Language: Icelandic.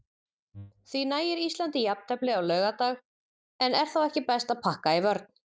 Því nægir Íslandi jafntefli á laugardag, en er þá ekki best að pakka í vörn?